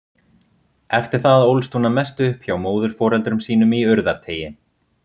Eftir það ólst hún að mestu upp hjá móðurforeldrum sínum í Urðarteigi.